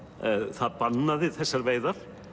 það bannaði þessar veiðar